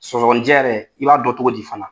Sɔgɔnijɛ yɛrɛ, i b'a dɔn cogo di fana?